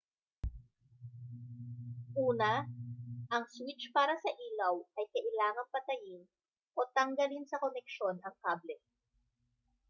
una ang switch para sa ilaw ay kailangang patayin o tanggalin sa koneksyon ang kable